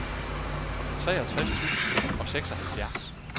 treogtres tusind og seksoghalvfjerds